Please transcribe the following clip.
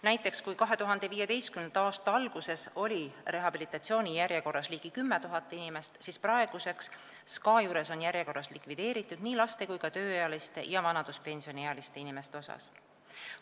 Näiteks, kui 2015. aasta alguses oli rehabilitatsioonijärjekorras ligi 10 000 inimest, siis praeguseks on SKA juures nii laste kui ka tööealiste ja vanaduspensioniealiste inimeste järjekorrad likvideeritud.